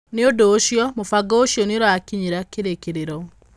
Nĩ ũndũ ũcio, mũbango ũcio nĩ ũrakinyĩra kĩrĩkĩrĩro.